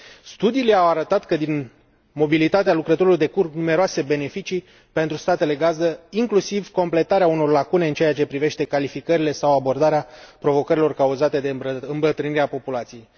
Studiile au arătat că din mobilitatea lucrătorilor decurg numeroase beneficii pentru statele gazdă, inclusiv completarea unor lacune în ceea ce privește calificările sau abordarea provocărilor cauzate de îmbătrânirea populației.